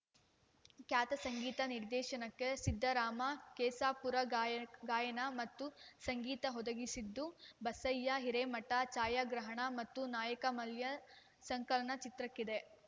ಖ್ಯಾತ ಸಂಗೀತ ನಿರ್ದೇಶನಕೆ ಸಿದ್ದರಾಮ ಕೆಸಾಪುರ ಗಾಯ ಗಾಯನ ಮತ್ತು ಸಂಗೀತ ಒದಗಿಸಿದ್ದು ಬಸಯ್ಯ ಹಿರೆಮಠ ಛಾಯಾಗ್ರಹಣ ಮತ್ತು ನಾಯಕ ಮಲ್ಯ ಸಂಕಲನ ಚಿತ್ರಕ್ಕಿದೆ